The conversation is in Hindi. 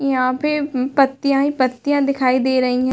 यहाँ पे (पर) पत्तिया ही पत्तिया दिखाई दे रही है।